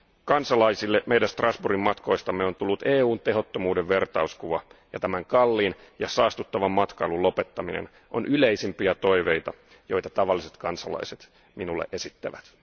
Kansalaisille meidän Strasbourgin matkoistamme on tullut EUn tehottomuuden vertauskuva ja tämän kalliin ja saastuttavan matkailun lopettaminen on yleisimpiä toiveita, joita tavalliset kansalaiset minulle esittävät.